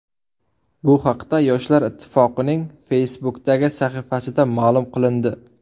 Bu haqda Yoshlar ittifoqining Facebook’dagi sahifasida ma’lum qilindi .